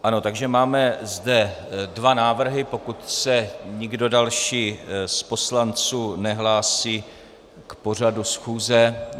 Ano, takže zde máme dva návrhy, pokud se nikdo další z poslanců nehlásí k pořadu schůze.